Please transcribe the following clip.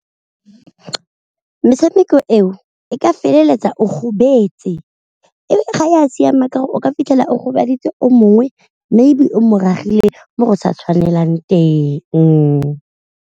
Metshameko eo e ka feleletsa o gobetse, ga e a siama ka gore o ka fitlhela o gobaditse o mongwe maybe o mo ragile mo go sa tshwanelang teng.